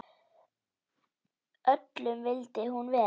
Öllum vildi hún vel.